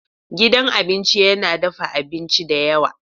Gidan abinci yana dafa abinci da yawa.